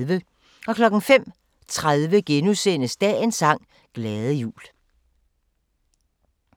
05:30: Dagens sang: Glade jul *